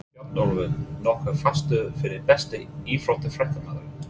Bjarnólfur nokkuð fastur fyrir Besti íþróttafréttamaðurinn?